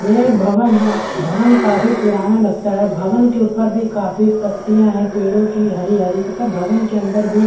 ये एक भवन है भवन काफी पुराना लगता है भवन के ऊपर का काफी पत्तियाँ है पेड़ो की हरी -हरी तथा भवन के अंदर भी--